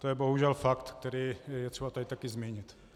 To je bohužel fakt, který je třeba tady také zmínit.